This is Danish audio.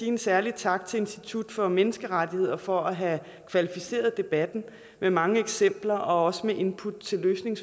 en særlig tak til institut for menneskerettigheder for at have kvalificeret debatten med mange eksempler og også med input til løsninger